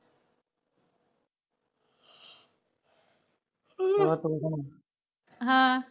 ਹਾਂ